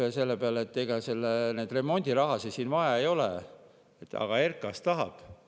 Üks minister ütles, et ega neid remondirahasid vaja ei ole, aga RKAS tahab.